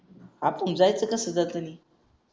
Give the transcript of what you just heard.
अर पण जायचं कस जातानी